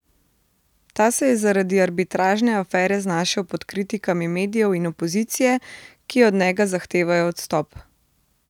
Ta se je zaradi arbitražne afere znašel pod kritikami medijev in opozicije, ki od njega zahtevajo odstop.